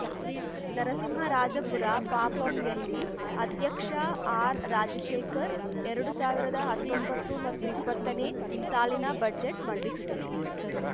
ನರಸಿಂಹರಾಜಪುರ ಪಪಂಯಲ್ಲಿ ಅಧ್ಯಕ್ಷ ಆರ್‌ರಾಜಶೇಖರ್‌ ಎರಡು ಸಾವಿರದ ಹತ್ತೊಂಬತ್ತು ಮತ್ತು ಇಪ್ಪತ್ತನೇ ಸಾಲಿನ ಬಜೆಟ್‌ ಮಂಡಿಸಿದರು